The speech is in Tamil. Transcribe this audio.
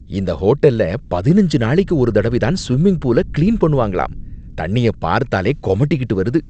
இந்த ஹோட்டல்ல பதினஞ்சு நாளைக்கு ஒரு தடவைதான் ஸ்விம்மிங்பூல கிளீன் பண்ணுவாங்களாம், தண்ணியப் பாத்தாலே கொமட்டிகிட்டு வருது.